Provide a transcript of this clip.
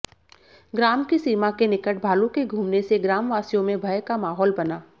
ग्राम की सीमा के निकट भालू के घूमने से ग्रामवासियों में भय का माहौल बना